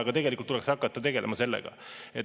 Aga tegelikult tuleks hakata tegelema sellega.